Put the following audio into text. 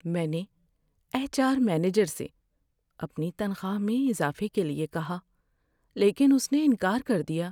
میں نے H R manager سے اپنی تنخواہ میں اضافے کے لیے کہا لیکن اس نے انکار کر دیا۔